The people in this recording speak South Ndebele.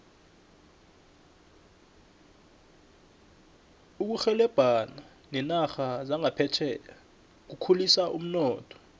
ukurhebelana nerarha zaphetjheya kukhulisa umnotho